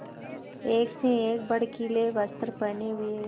एक से एक भड़कीले वस्त्र पहने हुए